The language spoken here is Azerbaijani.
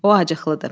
O acıqlıdır.